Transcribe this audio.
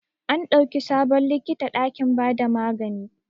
An dauki sabon likita dakin ba da magani.